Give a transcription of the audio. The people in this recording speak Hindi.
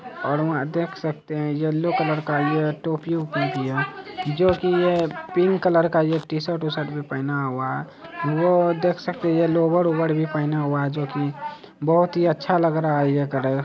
और वहाँ देख सकते है येल्लो का यह टोपी उठी हुई है जो कि यह पिंक कलर का टी शर्ट बिशर्ट भी पहना हुआ है देख सकते है लोवर बोबर भी पहना हुआ है जो कि बहुत ही अच्छा लग रहा है ये कलर